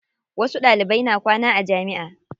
Wasu Ɗalibai na kwana a jamiʼa.